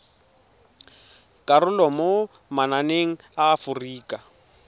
karolo mo mananeng a aforika